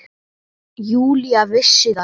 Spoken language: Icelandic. Júlía vissi það ekki.